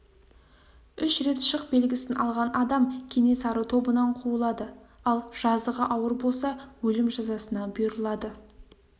үш рет шық белгісін алған адам кенесары тобынан қуылады ал жазығы ауыр болса өлім жазасына бұйырылады